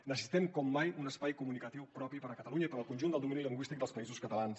necessitem com mai un espai comunicatiu propi per a catalunya i per al conjunt del domini lingüístic dels països catalans